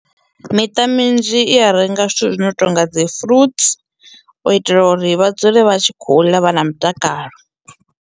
Miṱa minzhi i a renga zwithu zwino tonga dzi fruit u itela uri vha dzule vha tshi khou ḽa vha na mutakalo.